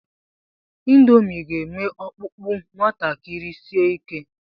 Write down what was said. Ịndomii ga-eme ọkpụkpụ nwatakịrị si ike.